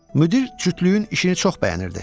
Müdir cütlüyün işini çox bəyənirdi.